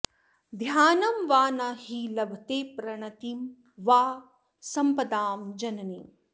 ध्यानं वा न हि लभते प्रणतिं वा संपदां जननीम्